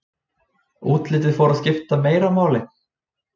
Útlitið fór að skipta meira máli.